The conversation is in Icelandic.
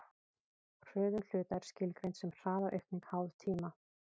hröðun hluta er skilgreind sem hraðaaukning háð tíma